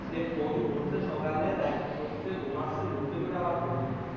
যে phone ধরছে সকালে রাত হচ্ছে ঘুমাচ্ছে ঘুম থেকে উঠে আবার phone ধরছে